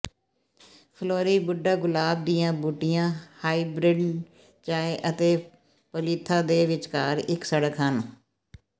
floribunda ਗੁਲਾਬ ਦੀਆਂ ਬੂਟੀਆਂ ਹਾਈਬ੍ਰਿਡ ਚਾਹ ਅਤੇ ਪੋਲੀਥਾ ਦੇ ਵਿਚਕਾਰ ਇੱਕ ਸੜਕ ਹਨ